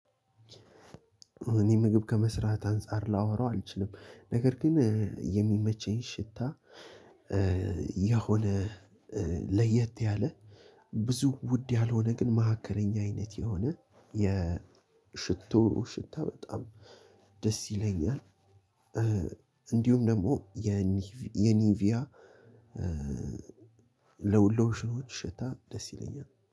እኔ ምግብ ከመስራት አንፃር ላወራው አልችልም። ነገር ግን የሚመቸኝ ሽታ የሆነ ለየት ያለ ብዙ ውድ ያልሆነ ግን መካከለኛ አይነት የሆነ የሽቶ ሽታ በጣም ደስ ይለኛል። እንዲሁም ደግሞ የኒቪያ ሎሽኖች ሽታ ደስ ይለኛል